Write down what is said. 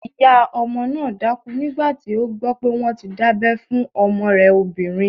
Ìyá ọmọ náà dákú nígbàtí ó gbọ́ pé wọ́n ti dábẹ́ fún ọmọ rẹ̀ obìnrin